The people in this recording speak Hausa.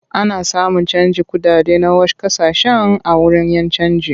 Ana samun canjin kuɗaɗe na wash ƙasashen a wurin 'yan canji.